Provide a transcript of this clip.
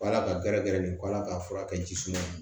Ala ka gɛrɛ gɛrɛ nin ala k'a furakɛ jisuma ye